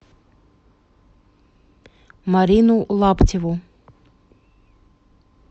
марину лаптеву